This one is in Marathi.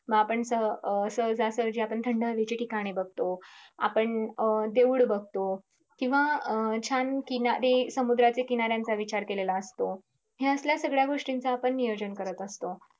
मं आपण स अं सहजासहजी आपण थंड हवेचे ठिकाणे बगतो. आपण अं देऊळे बगतो किंव्हा अं छान किनारी समुद्राच्या किनाऱ्याचा विचार केलेला असतो. ह्या असल्या सगळ्या गोष्टींचा नियोजन करत असतो.